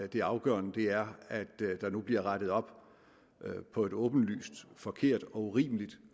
det afgørende er at der nu bliver rettet op på et åbenlyst forkert og urimeligt